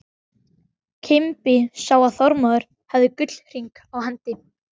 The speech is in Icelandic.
Kimbi sá að Þormóður hafði gullhring á hendi.